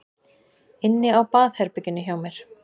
Inni á baðherberginu hjá mér?